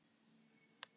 Níger